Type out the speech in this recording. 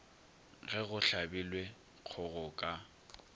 ge go hlabilwe kgogo ka